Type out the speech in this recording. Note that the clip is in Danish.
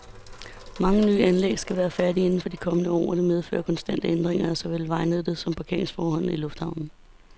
Mange nye anlæg skal være færdige inden for de kommende år, og det medfører konstante ændringer af såvel vejnettet som parkeringsforholdene i lufthavnen.